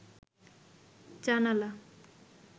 জানালা